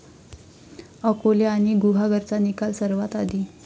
अकोले आणि गुहागरचा निकाल सर्वात आधी?